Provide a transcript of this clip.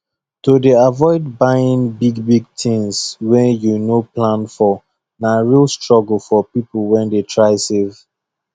to dey avoid buying bigbig things wey you no plan for na real struggle for people wey dey try save